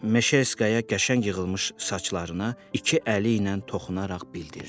Meşerskaya qəşəng yığılmış saçlarına iki əli ilə toxunaraq bildirdi.